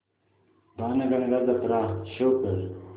बाणगंगा जत्रा शो कर